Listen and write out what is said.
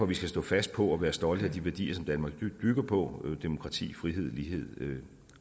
vi skal stå fast på og være stolte af de værdier som danmark bygger på demokrati frihed lighed